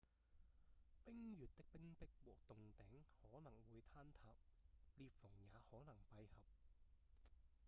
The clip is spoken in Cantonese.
冰穴的冰壁和洞頂可能會坍塌裂縫也可能閉合